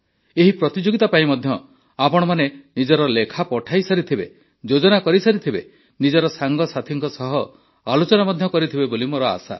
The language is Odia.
ଏହି ପ୍ରତିଯୋଗିତା ପାଇଁ ମଧ୍ୟ ଆପଣମାନେ ନିଜର ଲେଖା ପଠାଇସାରିଥିବେ ଯୋଜନା କରିସାରିଥିବେ ନିଜ ସାଙ୍ଗସାଥୀଙ୍କ ସହ ଆଲୋଚନା ମଧ୍ୟ କରିଥିବେ ବୋଲି ମୋର ଆଶା